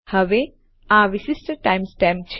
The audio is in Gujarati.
હવે આ વિશિષ્ટ ટાઇમ સ્ટેમ્પ છે